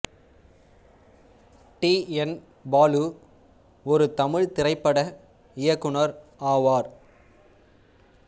D N Balu ஒரு தமிழ்த் திரைப்பட இயக்குனர் ஆவார்